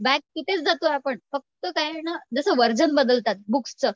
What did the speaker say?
back तिथेच जातो आपण फक्त काय आहे ना जसं व्हर्जन बदलतात बुक्सचं